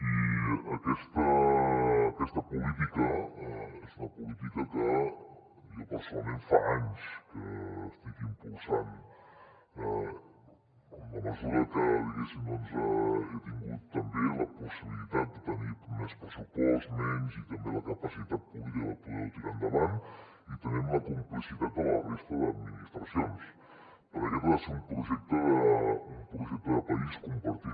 i aquesta política és una política que jo personalment fa anys que estic impulsant en la mesura que diguéssim doncs he tingut també la possibilitat de tenir més pressupost menys i també la capacitat política per poder ho tirar endavant i també amb la complicitat de la resta d’administracions perquè aquest ha de ser un projecte de país compartit